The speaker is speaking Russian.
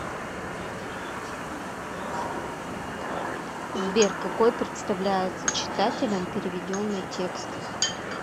сбер какой представляется читателям переведенный текст